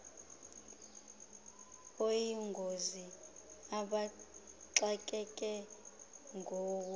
oyingozi abaxakeke nguwo